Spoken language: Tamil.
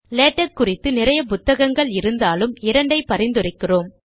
லேடக் குறித்து நிறைய புத்தகங்கள் இருந்தாலும் இரண்டை பரிந்துரைக்கிறோம்